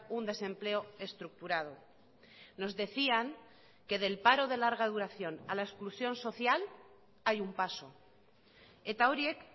un desempleo estructurado nos decían que del paro de larga duración a la exclusión social hay un paso eta horiek